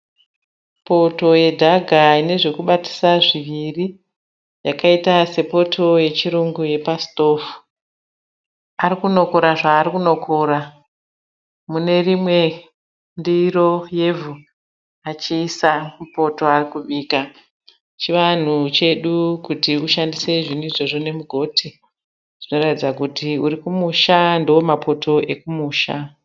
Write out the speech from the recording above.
Poto yedhaka ine zvokubatisa zviviri yakaita sepoto yechirungu yepasitovhu. Ari kunokora zvaari kunokora mune rimwe ndiro yevhu achiyisa mupoto yaari kubika. Chivanhu chedu kuti ushandise zvinhu izvozvo nemugoti. Zvinoratidza kuti uri kumusha ndomapoto okumusha.